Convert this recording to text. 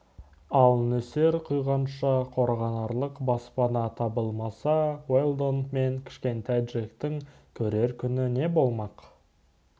ал нөсер құйғанша қорғанарлық баспана табылмаса уэлдон мен кішкентай джектің көрер күні не болмақ